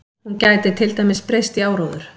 Hún gæti til dæmis breyst í áróður.